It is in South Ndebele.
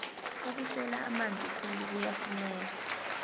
ukusela amanzi khulu kuyafuneka